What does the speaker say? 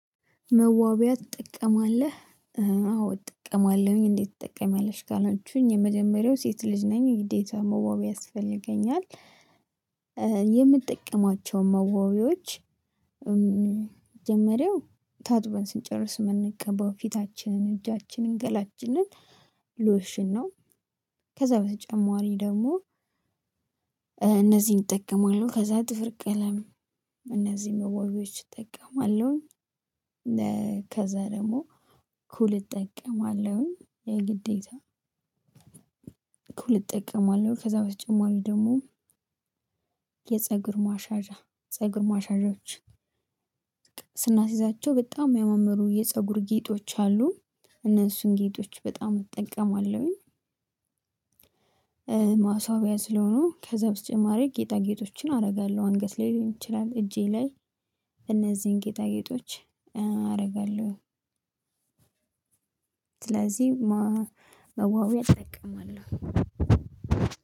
መዋቢያ ትጠቀማለህ? አዎ እጠቀማለሁኝ። እንዴት ትጠቀሚያለሽ ካላችሁኝ የመጀመሪያው ሴት ልጅ ነኝ ግዴታ መዋቢያ ያስፈልገኛል። የምትጠቀማቸው መዋቢዎች መጀመሪያው ታጥበን ስንጨርስ የምንቀባው ፊታችንን፣ እጃችንን፣ ገላጅንን ሎሽን ነው። ከዛ በተጨማሪ ደግሞ እነዚህን እጠቀማለሁ። ከዛ ጥፍር ቀለም፣ እነዚህን መዋቢያዎች እጠቀማለሁኝ። ከዛ ደግሞ ኩል እጠቀማለሁኝ። የግዴታ ኩል እጠቀማለሁ። ከዛ በተጨማሪ ደግሞ የፀጉር ማሻየዣ፣ ፀጉር ማሻዣዎች ስናስይዛቸው በጣም የሚያማምሩ የፀጉር ጌጦች አሉ እነሱን ጌጦች በጣም እጠቀማለሁኝ። ማስዋቢያ ስለሆኑ ከዛ በተጨማሪ ጌጣጌጦችን አደርጋለሁ አንገት ላይ ሊሆን ይችላል እጄ ላይ እነዚህን ጌጣጌጦች አደርጋለሁ። ስለዚህ መዋቢያ እጠቀማለሁ።